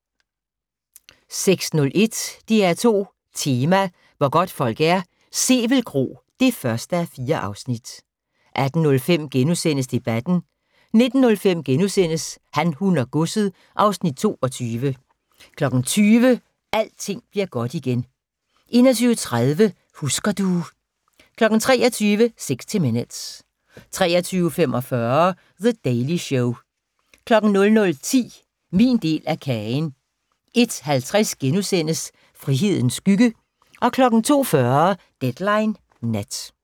16:01: DR2 Tema: Hvor godtfolk er - Sevel Kro (1:4) 18:05: Debatten * 19:05: Han, hun og godset (Afs. 22)* 20:00: Alting bliver godt igen 21:30: Husker du ... 23:00: 60 Minutes 23:45: The Daily Show 00:10: Min del af kagen 01:50: Frihedens skygge * 02:40: Deadline Nat